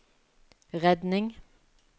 redning